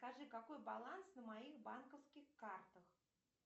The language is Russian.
скажи какой баланс на моих банковских картах